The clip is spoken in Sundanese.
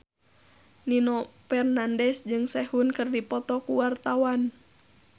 Nino Fernandez jeung Sehun keur dipoto ku wartawan